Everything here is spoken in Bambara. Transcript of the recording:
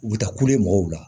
U bɛ taa kule mɔgɔw la